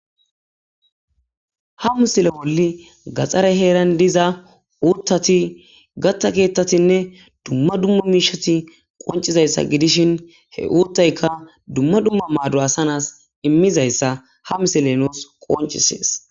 Ha misile bolla gaxare heran diza uthati gatha kethatinne duma duma mishati qon, idayisa gidishin he uthayika duma duma mado asa na,si imidayisa ha misile nusi qonccises